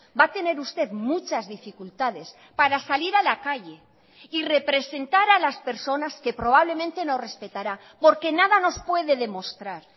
va a tener usted muchas dificultades para salir a la calle y representar a las personas que probablemente no respetará porque nada nos puede demostrar